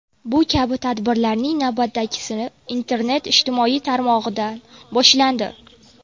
Bu kabi tadbirlarning navbatdagisi internet ijtimoiy tarmog‘idan boshlandi.